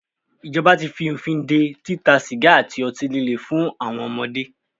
Ìjọba tí fí òfin dé títa sìgá àti ọtí líle fún àwọn ọmọdé.